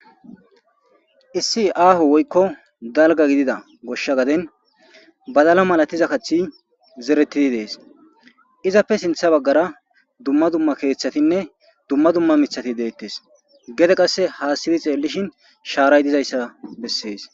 issi aaho woykko dalga gidida goshsha gaden badala malatiza kathi zeretidi dees izappe sintha baggara dumma dumma keeththatinne dumma dumma mithati deettes gede qasse haasiri xeellishin shaaray dizayssa bessees